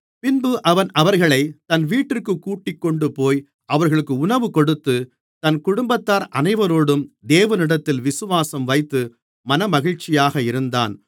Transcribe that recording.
பின்பு அவன் அவர்களைத் தன் வீட்டிற்குக் கூட்டிக்கொண்டுபோய் அவர்களுக்கு உணவுகொடுத்து தன் குடும்பத்தார் அனைவரோடும் தேவனிடத்தில் விசுவாசம் வைத்து மனமகிழ்ச்சியாக இருந்தான்